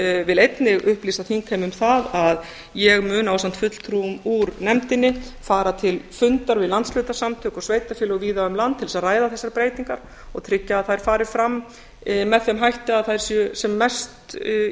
vil einnig upplýsa þingheim um það að ég mun ásamt fulltrúum úr nefndinni fara til fundar við landshlutasamtök og sveitarfélög víða um land til þess að ræða þessar breytingar og tryggja að þær fari fram með þeim hætti að þær séu sem mest í